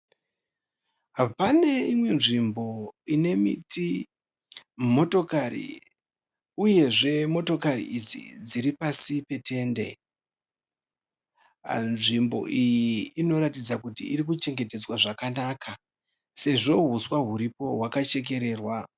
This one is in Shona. Pane imwe nzvimbo ine miti, motokari uyezve motokari idzi dziri pasi petende. Nzvimbo iyi inoratidza kuti irikuchengetedzwa zvakanaka sezvo huswa huripo hwakachekererwa.